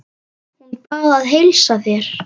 Hún bað að heilsa þér.